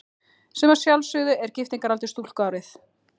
Sem að sjálfsögðu er giftingaraldur stúlku árið